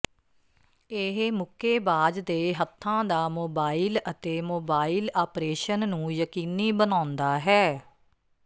ਇਹ ਮੁੱਕੇਬਾਜ਼ ਦੇ ਹੱਥਾਂ ਦਾ ਮੋਬਾਈਲ ਅਤੇ ਮੋਬਾਈਲ ਆਪਰੇਸ਼ਨ ਨੂੰ ਯਕੀਨੀ ਬਣਾਉਂਦਾ ਹੈ